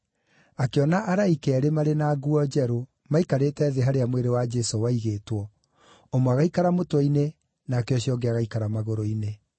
akĩona araika eerĩ marĩ na nguo njerũ, maikarĩte thĩ harĩa mwĩrĩ wa Jesũ waigĩtwo, ũmwe agaikara mũtwe-inĩ nake ũcio ũngĩ agaikara magũrũ-inĩ.